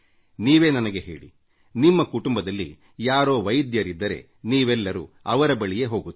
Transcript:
ನೀವೇ ನನಗೆ ಹೇಳಿ ನಿಮಗೆ ಒಬ್ಬರು ಕುಟುಂಬ ವೈದ್ಯರಿದ್ದಾರೆ ನಿಮ್ಮ ಕುಟುಂಬದ ಸದಸ್ಯರೆಲ್ಲರೂ ಅವರ ಬಳಿಗೇ ಹೋಗುತ್ತೀರಿ